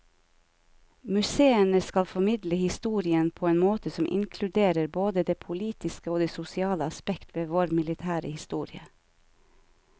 Museene skal formidle historien på en måte som inkluderer både det politiske og det sosiale aspekt ved vår militære historie.